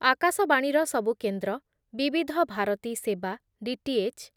ଆକାଶବାଣୀର ସବୁ କେନ୍ଦ୍ର, ବିବିଧ ଭାରତୀ ସେବା, ଡି ଟି ଏଚ୍